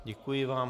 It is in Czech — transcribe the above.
Děkuji vám.